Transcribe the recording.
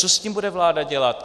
Co s tím bude vláda dělat.